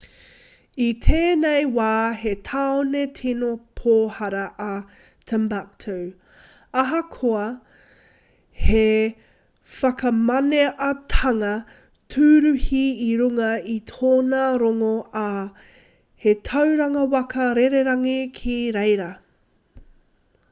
i tēnei wā he tāone tino pōhara a timbuktu ahakoa he whakamaneatanga tūruhi i runga i tōna rongo ā he tauranga waka rererangi ki reira